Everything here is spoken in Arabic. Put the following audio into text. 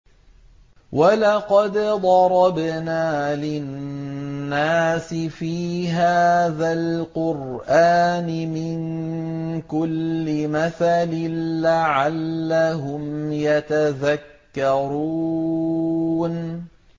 وَلَقَدْ ضَرَبْنَا لِلنَّاسِ فِي هَٰذَا الْقُرْآنِ مِن كُلِّ مَثَلٍ لَّعَلَّهُمْ يَتَذَكَّرُونَ